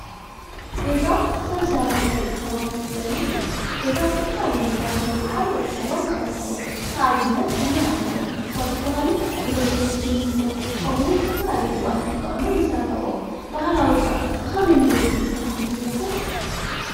ገዛ ሰብ ስራሕ ናይ ደቂ ሰባት መፅለሊ እዩ፡፡ ገዛ ዝተፈላለዩ ነገራት ብምጥቃም ደቂ ሰባት ይሰርሕዎ፡፡ ንኣብነት ዘመናዊ ገዛታት ኳ ዝባሃሉ ብሎኬት፣ ስሚንቶ ከምኡ እውን ዝተፈላለዩ ግበኣታት ተጠቂሞም ይሰርሕዎም፡፡ ባህላዊ ኸ ብከመይ መንገዲ ዝስራሕ ይመስለኩም?